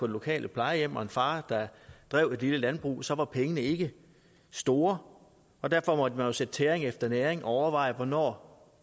lokale plejehjem og en far der drev et lille landbrug og så var pengene ikke store derfor måtte man jo sætte tæring efter næring og overveje hvornår